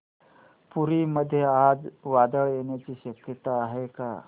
पुरी मध्ये आज वादळ येण्याची शक्यता आहे का